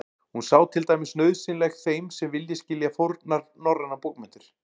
Hún sé til dæmis nauðsynleg þeim sem vilji skilja fornar norrænar bókmenntir.